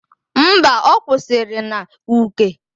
Mba, ọ kwụsịrị n'Uke.